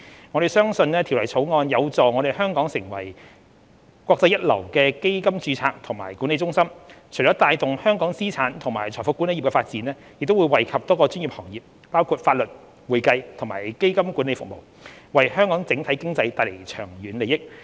我們相信《條例草案》有助香港成為國際一流的基金註冊及管理中心，除了帶動香港資產及財富管理業的發展，亦會惠及多個專業行業，包括法律、會計和基金管理服務，為香港整體經濟帶來長遠利益。